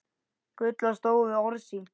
Gulla stóð við orð sín.